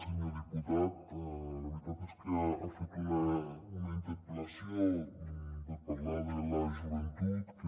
senyor diputat la ve·ritat és que ha fet una interpel·lació per parlar de la joventut que